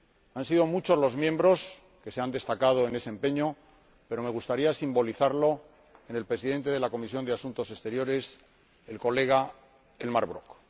Han sido muchos los diputados que se han destacado en ese empeño, pero me gustaría simbolizarlo en el Presidente de la Comisión de Asuntos Exteriores, Elmar Brok.